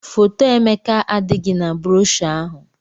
Foto Emeka adịghị na broshọ ahụ